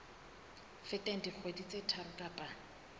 feteng dikgwedi tse tharo kapa